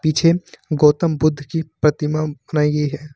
छे गौतम बुद्ध की प्रतिमा बनाई गई है।